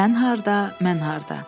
Sən harda, mən harda?